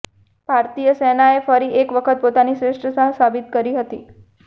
ભારતીય સેનાએ ફરી એક વખત પોતાની શ્રેષ્ઠતા સાબિત કરી હતી